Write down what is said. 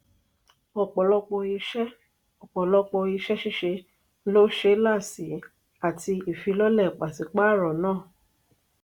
ọpọlọpọ iṣẹ ọpọlọpọ iṣẹ ṣiṣe lo ṣẹlá sí àtì ìfilọ́lẹ̀ pasipaaro náà.